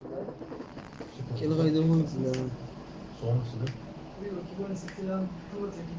кино домой даже функции